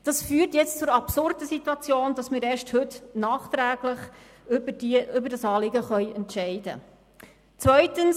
Es führt nun zur absurden Situation, dass wir erst heute, nachträglich über dieses Anliegen entscheiden können.